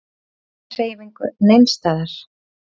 Enga hreyfingu neins staðar.